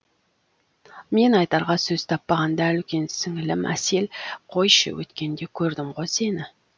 мен айтарға сөз таппағанда үлкен сіңілім әсел қойшы өткенде көрдім ғой сені